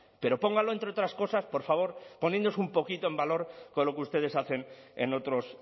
pero póngalo entre otras cosas por favor poniéndose un poquito en valor con lo que ustedes hacen en otros